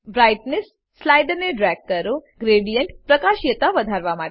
brightness સ્લાઈડરને drag કરો ગ્રેડીએન્ટની પ્રકાશીયતા વધારવા માટે